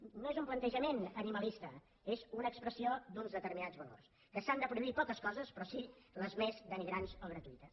no és un plantejament animalista és una expressió d’uns determinats valors que s’han de prohibir poques coses però sí les més denigrants o gratuïtes